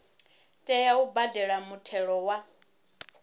tea u badela muthelo wa